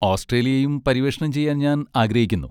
ഓസ്ട്രേലിയയും പര്യവേഷണം ചെയ്യാൻ ഞാൻ ആഗ്രഹിക്കുന്നു.